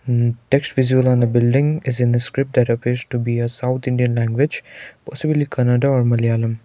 um text visible on the building is in the script that appears to be a south indian language possibly Kannada or Malayalam.